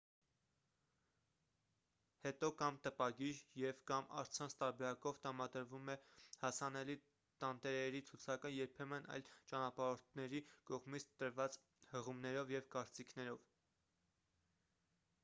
հետո կամ տպագիր և/կամ առցանց տարբերակով տրամադրվում է հասանելի տանտերերի ցուցակը՝ երբեմն այլ ճանապարհորդների կողմից տրված հղումներով և կարծիքներով։